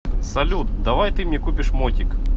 салют давай ты мне купишь мотик